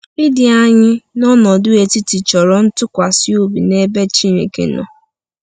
Ịdị anyị n’ọnọdụ etiti chọrọ ntụkwasị obi n’ebe Chineke nọ.